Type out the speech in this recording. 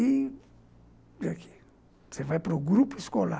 E aqui, você vai para o grupo escolar.